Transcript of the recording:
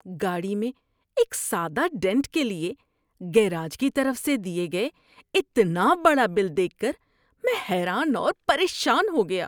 گاڑی میں ایک سادہ ڈینٹ کے لیے گراج کی طرف سے دیے گئے اتنا بڑا بل دیکھ کر میں حیران اور پریشان ہو گیا۔